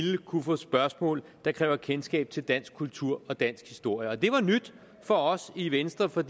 kunne få spørgsmål der kræver kendskab til dansk kultur og dansk historie det var nyt for os i venstre for